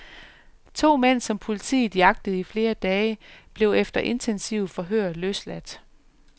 To mænd, som politiet jagtede i flere dage, blev efter intensive forhør løsladt.